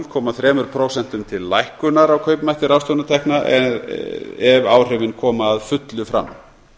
komma þrjú prósent til lækkunar á kaupmætti ráðstöfunartekna ef áhrifin koma að fullu fram